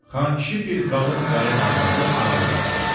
Xankişi bir qalın qayımarvadı aralığa saldı.